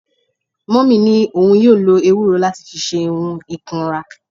Mummy ni oun yoo lo ewuro lati fi se ohun ikunra